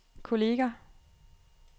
kolleger